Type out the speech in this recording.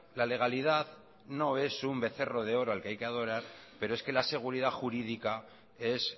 la legalidad no es un becerro de oro al que hay que adorar pero es que la seguridad jurídica es